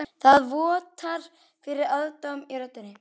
Það vottar fyrir aðdáun í röddinni.